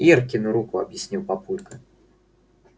иркину руку объяснил папулька